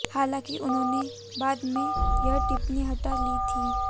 हालांकि उन्होंने बाद में यह टिप्पणी हटा ली थी